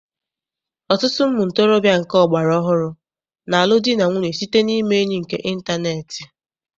Ọtụtụ ụmụntorobịa nke ọgbara ọhụrụ na-alụ di na nwunye site na ime enyi nke ịntaneetị.